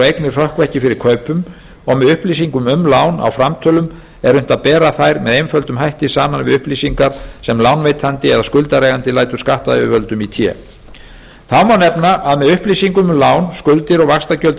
eignir hrökkva ekki fyrir kaupum og með upplýsingum um lán á framtölum er unnt að bera þær með einföldum hætti saman við upplýsingar sem lánveitandi eða skuldareigandi lætur skattyfirvöldum í té þá má nefna að með upplýsingum um lán skuldir og vaxtagjöld